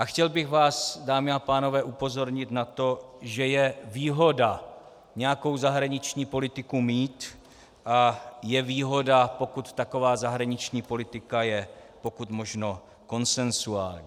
A chtěl bych vás, dámy a pánové, upozornit na to, že je výhoda nějakou zahraniční politiku mít a je výhoda, pokud taková zahraniční politika je pokud možno konsensuální.